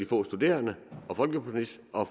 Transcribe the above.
få studerende og folkepensionister